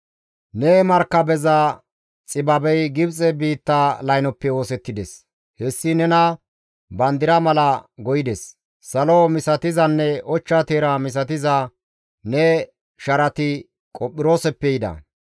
Ne Markabeza xibabey Gibxe biitta laynoppe oosettides; hessi nena bandira mala go7ides. Salo misatizanne ochcha teera misatiza ne sharati Qophirooseppe yida.